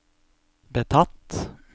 betatt